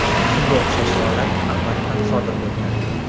Shunga o‘xshash holat avval ham sodir bo‘lgandi.